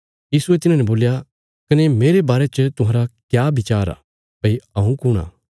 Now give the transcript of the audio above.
यीशुये तिन्हाने बोल्या कने मेरे बारे च तुहांरा क्या बचार आ भई हऊँ कुण आ